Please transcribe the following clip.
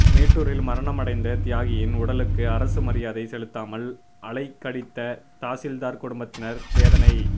மேட்டூரில் மரணமடைந்த தியாகியின் உடலுக்கு அரசு மரியாதை செலுத்தாமல் அலைகழித்த தாசில்தார் குடும்பத்தினர் வேதனை